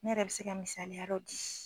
Ne yɛrɛ bi se ka misaliya dɔw di.